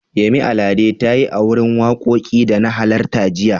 Yemi Alade ta yi a wurin wakokin da na halarta jiya.